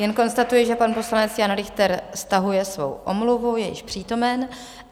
Jen konstatuji, že pan poslanec Jan Richter stahuje svou omluvu, je již přítomen.